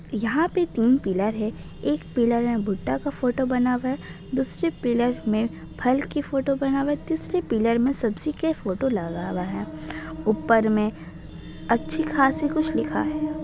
यहाँ तीन पिलर है | एक पिलर में भुट्टा का फ़ोटो बना हुआ है दूसरे पिलर में फल की फ़ोटो बना हुआ है तीसरे पिलर में सब्जी का फ़ोटो लगा हुआ है ऊपर मे अच्छी खासी कुछ लिखा है।